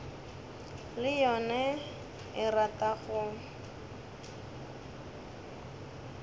le yona e rata go